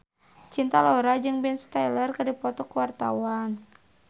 Cinta Laura jeung Ben Stiller keur dipoto ku wartawan